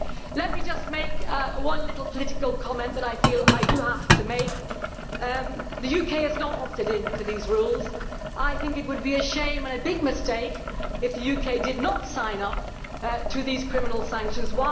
Let me just make one little political comment which I feel I do have to make the UK has not opted into these rules, and I think it would be a shame and a big mistake if the UK did not sign up to these criminal sanctions.